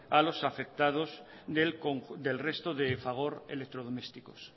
a los afectados del resto de fagor electrodomésticos